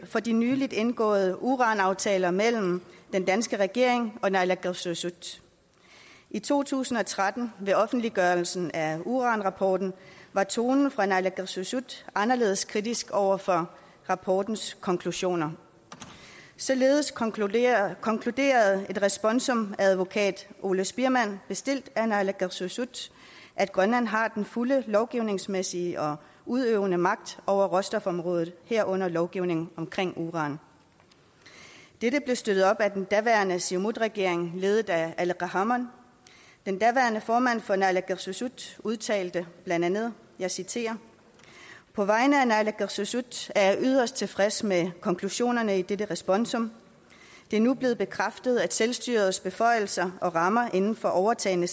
for de nylig indgåede uranaftaler mellem den danske regering og naalakkersuisut i to tusind og tretten ved offentliggørelsen af uranrapporten var tonen fra naalakkersuisut anderledes kritisk over for rapportens konklusioner således konkluderede konkluderede et responsum af advokat ole spiermann bestilt af naalakkersuisut at grønland har den fulde lovgivningsmæssige og udøvende magt over råstofområdet herunder lovgivningen omkring uran dette blev støttet af den daværende siumutregering ledet af aleqa hammond den daværende formand for naalakkersuisut udtalte blandt andet jeg citerer på vegne af naalakkersuisut er jeg yderst tilfreds med konklusionerne i dette responsum det er nu blevet bekræftet at selvstyrets beføjelser og rammer inden for overtagne